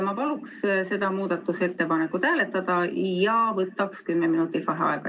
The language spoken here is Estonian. Ma paluksin seda muudatusettepanekut hääletada ja võtaks 10 minutit vaheaega.